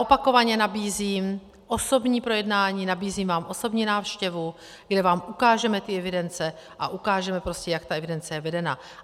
Opakovaně nabízím osobní projednání, nabízím vám osobní návštěvu, kde vám ukážeme ty evidence a ukážeme prostě, jak ta evidence je vedena.